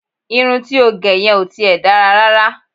Irun ti ó gẹ yẹn ò ti ẹ̀ dára rárá